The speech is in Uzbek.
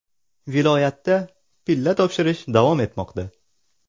Viloyatda pilla topshirish davom etmoqda.